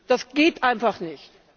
Das geht einfach nicht.